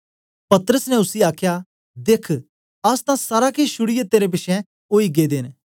पतरस ने उसी आखया देख्ख अस तां सारा केछ छुड़ीयै तेरे पिछें ओई गेदे न